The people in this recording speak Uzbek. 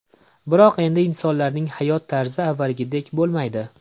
Biroq endi insonlarning hayot tarzi avvalgidek bo‘lmaydi.